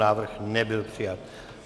Návrh nebyl přijat.